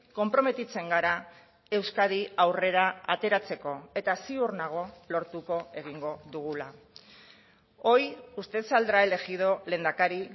konprometitzen gara euskadi aurrera ateratzeko eta ziur nago lortuko egingo dugula hoy usted saldrá elegido lehendakari